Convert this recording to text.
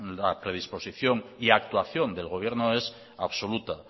la predisposición y actuación del gobierno es absoluta